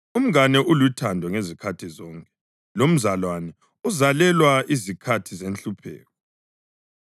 Umngane ulothando ngezikhathi zonke, lomzalwane uzalelwa izikhathi zenhlupheko.